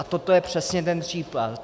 A toto je přesně ten případ.